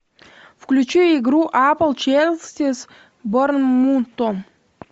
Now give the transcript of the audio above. включи игру апл челси с борнмутом